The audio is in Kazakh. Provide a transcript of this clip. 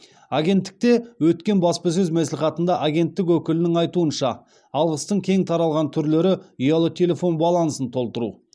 агенттікте өткен баспасөз мәслихатында агенттік өкілінің айтуынша алғыстың кең таралған түрлері ұялы телефон балансын толтыру